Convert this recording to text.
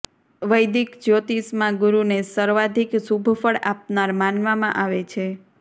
વૈદિક જ્યોતિષમાં ગુરુને સર્વાધિક શુભ ફળ આપનાર માનવામાં આવે છે